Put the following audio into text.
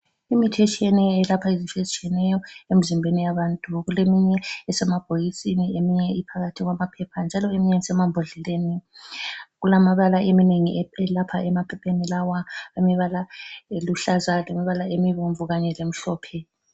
lmithi etshiyeneyo elapha izinto ezitshiyeneyo emzimbeni yabantu kuleminye esemabhokisini eminye iphakathi kwamaphepha njalo eminye isemambodleleni. Kulamabala eminengi lapha emaphepheni lawa imibala eluhlaza, lemibala emibomvu kanye lemhlophe.